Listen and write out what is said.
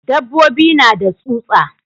Dabbobi na da tsutsa.